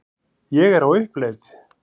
Ég er á uppleið.